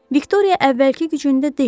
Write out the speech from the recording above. Viktoriya əvvəlki gücündə deyildi.